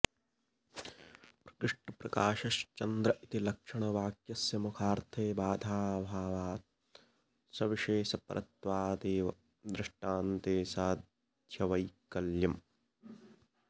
प्रकृष्टप्रकाशश्चन्द्र इति लक्षणवाक्यस्य मुखार्थे बाधाभावात् सविशेषपरत्वादेव दृष्टान्ते साध्यवैकल्यम्